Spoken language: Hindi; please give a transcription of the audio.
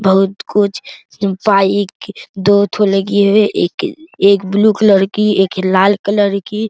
बहुत कुछ बाइक दो ठो लगी हुई है एक-एक ब्लू कलर की एक लाल कलर की।